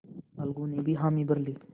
अलगू ने भी हामी भर ली